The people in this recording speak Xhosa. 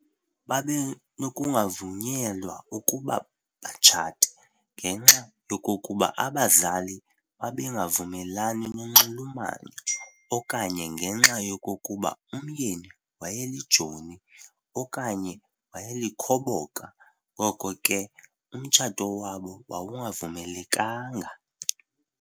Babenokungavunyelwa ukuba batshate ngenxa yokokuba ababazali babengavumelani nonxulumano okanye ngenxa yokokuba umyeni wayelijoni okanye wayelikhoboka, ngoko ke umtshato wabo wawungavumelekanga.